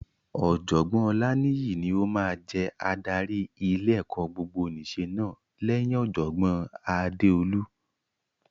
Ọ̀jọ̀gbọ́n Olaniyi ni ó máa jẹ adarí ilé-ẹ̀kọ́ gbogbonìṣe náà lẹ́yìn Ọ̀jọ̀gbọ́n Adeolu.